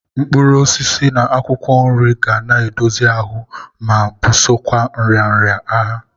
Mkpụrụosisi na akwụkwọ nri ga na-edozie ahụ ma bụsokwa nrịanrịa agha.